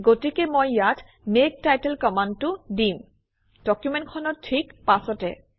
গতিকে মই ইয়াত মেক টাইটেল কমাণ্ডটো দিম ডকুমেণ্টখনৰ ঠিক পাছতে